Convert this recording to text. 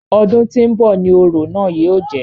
Ọdún tí ń bọ̀ ni orò náà yóò jẹ́.